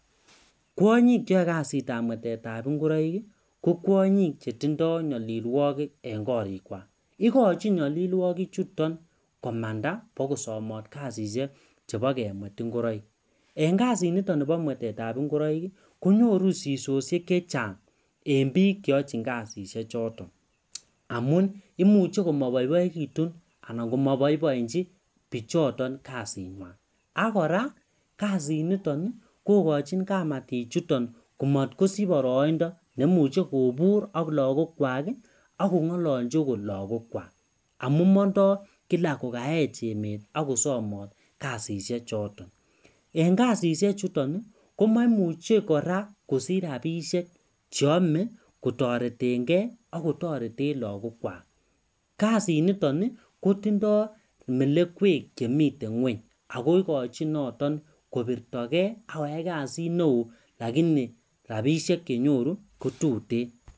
Kwonyik cheyoe kasitab mwetetab ngoroik ko kwonyik chetindoi nyolilwokik eng' korikwak ikochi nyolilwokichuton komanda bikosomot kasishek chebo kemwet ngoroik eng' kasinito nebo mwetetab ngoroik konyoru sisoshek chechang' eng' biik cheyochin kasishechoto amun imuchen komaboiboikitun anan komaboiboichin bichoton kasing'wai akora kasiniton kokochini kamatik chuton komatkosich boroindo neimuchei kobur ak lagok kwak akong'ololji akot lagokwak amun mondoi Kila kokaech emet akosomot kasishe choton eng' kasishechuton komaimuchei kora kosich rapishek cheomei kotoretengei akotoreten lagokwak kasinito kotindoi melekwek chemitei ng'weny ako ikochin noton kopirtogei akoyai kasit neo lakini rapishek chenyoru kotutin.